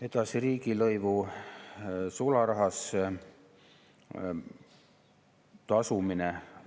Edasi, riigilõivu sularahas tasumine.